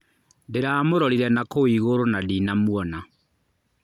Ndĩramũrorire nakũu igũrũ na ndinamwona.